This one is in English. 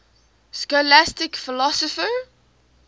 scholastic philosophers